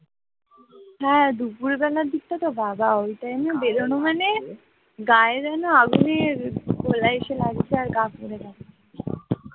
গা য়ে যেন আগুনের গোলা এসে লাগছে আর গা যেন পুড়ে যাচ্ছে